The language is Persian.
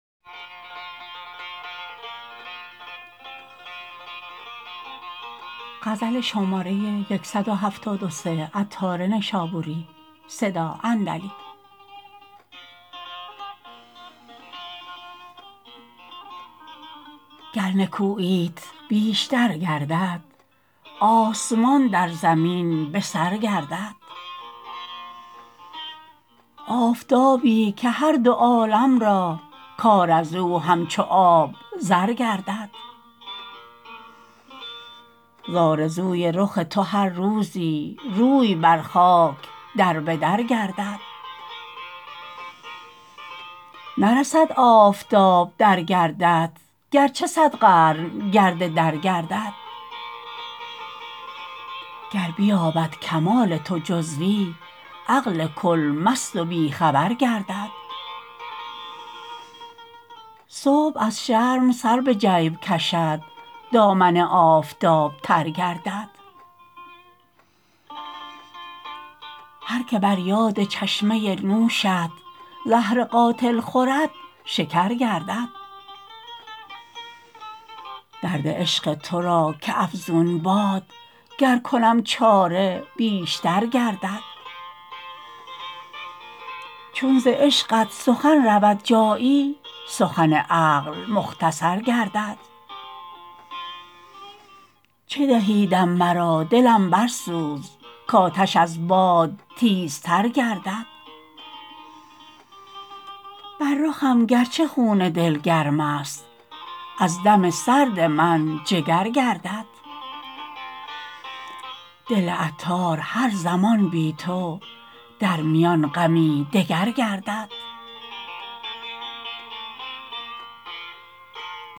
گر نکوییت بیشتر گردد آسمان در زمین به سر گردد آفتابی که هر دو عالم را کار ازو همچو آب زر گردد زآرزوی رخ تو هر روزی روی بر خاک دربدر گردد نرسد آفتاب در گردت گرچه صد قرن گرد در گردد گر بیابد کمال تو جزوی عقل کل مست و بیخبر گردد صبح از شرم سر به جیب کشد دامن آفتاب تر گردد هر که بر یاد چشمه نوشت زهر قاتل خورد شکر گردد درد عشق تو را که افزون باد گر کنم چاره بیشتر گردد چون ز عشقت سخن رود جایی سخن عقل مختصر گردد چه دهی دم مرا دلم برسوز کاتش از باد تیزتر گردد بر رخم گرچه خون دل گرم است از دم سرد من جگر گردد دل عطار هر زمان بی تو در میان غمی دگر گردد